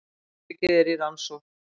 Atvikið er í rannsókn